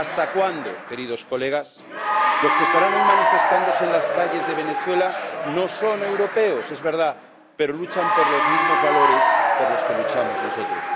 ¿Hasta cuándo, queridos colegas? Los que estarán hoy manifestándose en las calles de Venezuela no son europeos, es verdad, pero luchan por los mismos valores por los que luchamos nosotros.